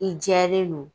I jɛlen don